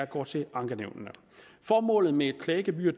går til ankenævnene formålet med et klagegebyr